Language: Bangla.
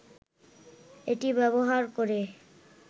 এটি ব্যবহার করে